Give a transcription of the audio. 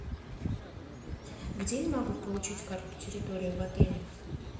где я могу получить карту территории в отеле